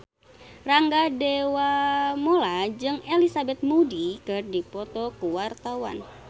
Rangga Dewamoela jeung Elizabeth Moody keur dipoto ku wartawan